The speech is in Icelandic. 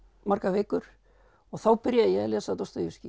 margar vikur og þá byrjaði ég að lesa